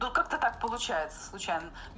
ну как-то так получается случайно